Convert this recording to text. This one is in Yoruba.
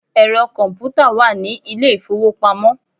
Ẹ̀rọ kọ̀ǹpútà wà ní ilé ìfowópamọ́.